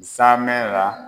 Zanmɛn ra.